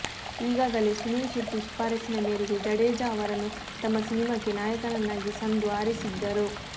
ಈಗಾಗಲೇ ಸುನಿಲ್ ಶೆಟ್ಟಿ ಶಿಫಾರಸ್ಸಿನ ಮೇರೆಗೆ ಜಡೇಜಾ ಅವರನ್ನು ತಮ್ಮ ಸಿನಿಮಾಕ್ಕೆ ನಾಯಕನನ್ನಾಗಿ ಸಂಧು ಆರಿಸಿದ್ದರು